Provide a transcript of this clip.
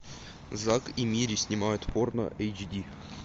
зак и мири снимают порно эйч ди